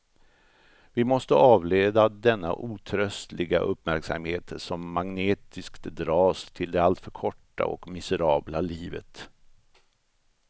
Vi måste avleda denna otröstliga uppmärksamhet som magnetiskt dras till det alltför korta och miserabla livet.